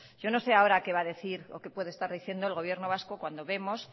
yo no sé ahora qué va a decir o qué puede estar diciendo el gobierno vasco cuando vemos